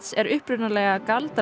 er upphaflega